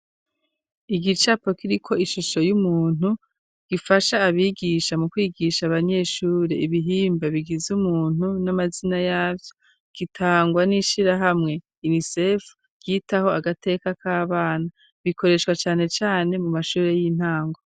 igicapo kiriko ishusho y'umuntu , gifasha abigisha mu kwigisha abanyeshuri ibihimba bigize umuntu n'amazina yavyo . Gitangwa n'ishirahamwe inisef ryitaho agateka k'abana . Gikoreshwa cane cane mu mashuri y'intango.